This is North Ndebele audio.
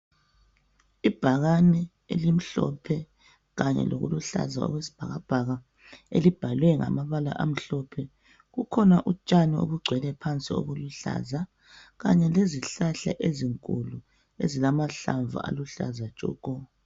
Ibhakane elimhlophe kanye lokuluhlaza okwesibhakabhaka elibhalwe ngamabala amhlophe kukhona utshani obugcwele phansi obuluhlaza kanye lezihlahla ezinkulu ezilamahlamvu aluhlaza tshoko.